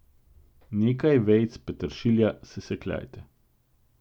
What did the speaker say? Nekaj vejic peteršilja sesekljajte.